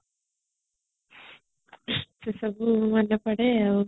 ସେ ସବୁ ମନେପଡେ